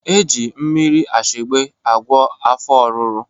Eji mmiri ashegbe agwọ afọ oruru